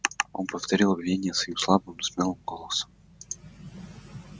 он повторил обвинения свои слабым но смелым голосом